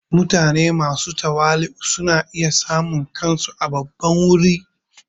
Mutane masu tawali'u suna iya samun kansu a babban wuri.